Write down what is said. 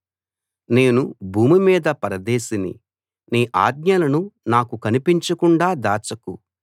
నేను భూమి మీద పరదేశిని నీ ఆజ్ఞలను నాకు కనిపించకుండా దాచకు